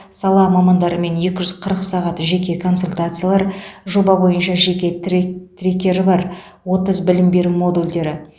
сала мамандарымен екі жүз қырық сағат жеке консультациялар жоба бойынша жеке трек трекері бар отыз білім беру модульдері